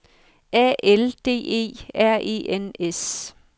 A L D E R E N S